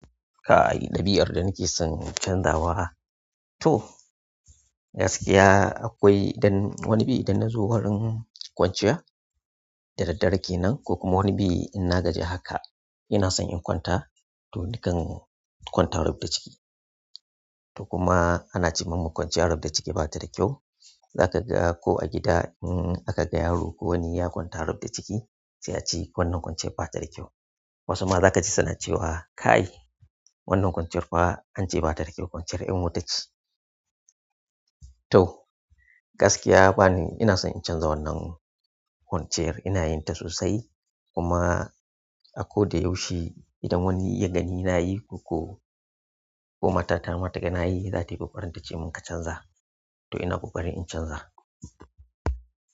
Kay ɗabi'ar da nike son canzawa. To gaskiya akwai idan wani bi idan nazo wurin kwanciya da daddare kenan ko kuma wani bi inna gaji haka ina son in kwanta to nakan kwanta rubda ciki. To kuma ana ce mun kwanciya rubda ciki bata da kyau. Zaka ga ko a gida in aka ga yaro ko wani ya kwanta rubda ciki sai a ce wannan kwanciyar bata da kyau. Wasu ma za kaji suna cewa "kay wannan kwanciyar fa an ce bata da kyau kwanciyar ƴan wuta ce". To gaskiya bani ina son in canza wannan kwanciyar ina yin ta sosai kuma a ko da yaushe idan wani ya gani ina yi ko, ko matata mata taga nayi zatayi ƙoƙarin ta ce mun ka canza to ina kuma barin in canza.